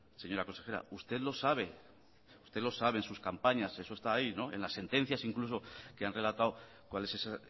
señora consejera usted lo sabe usted lo sabe su campaña eso está ahí en las sentencias incluso que han relatado cuál es esa